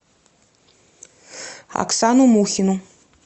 оксану мухину